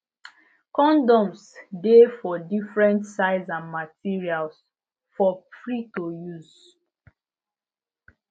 condoms de for different size and material for free to use